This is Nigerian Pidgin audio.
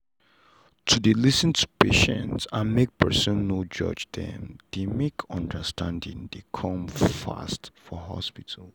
to dey lis ten to patient and make person no judge them dey make understanding dey come fast for hospital.